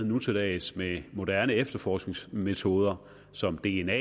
nu til dags med moderne efterforskningsmetoder som dna